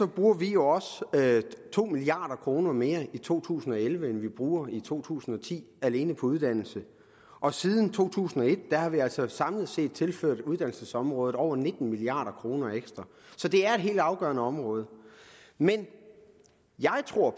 bruger vi jo også to milliard kroner mere i to tusind og elleve end vi brugte i to tusind og ti alene på uddannelse og siden to tusind og et har vi altså samlet set tilført uddannelsesområdet over nitten milliard kroner ekstra så det er et helt afgørende område men jeg tror